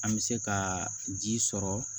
An bɛ se ka ji sɔrɔ